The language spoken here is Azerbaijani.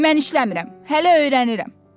Mən işləmirəm, hələ öyrənirəm.